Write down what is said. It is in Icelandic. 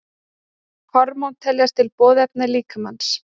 Hormón teljast til boðefna líkamans.